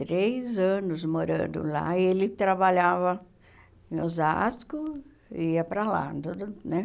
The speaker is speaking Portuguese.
três anos morando lá, e ele trabalhava em Osasco e ia para lá, né?